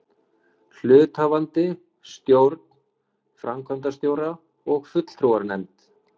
hluthafafundi, stjórn, framkvæmdastjóra og fulltrúanefnd.